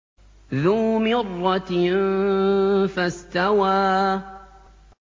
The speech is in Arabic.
ذُو مِرَّةٍ فَاسْتَوَىٰ